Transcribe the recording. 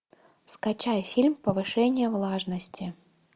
скачай фильм повышение влажности